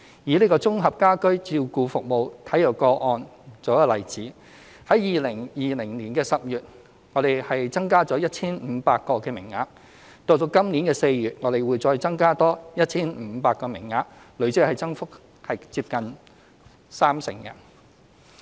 以綜合家居照顧服務為例 ，2020 年10月我們增加了 1,500 個名額，今年4月會再增加多 1,500 個名額，累積增幅接近三成。